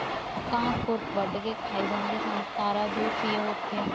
ਕਾਂ ਖ਼ੁਰ ਵੱਢ ਕੇ ਖਾਈ ਜਾਂਦੇ ਸਨ, ਤਾਰਾ ਜੁ ਸੀ ਉੱਥੇ।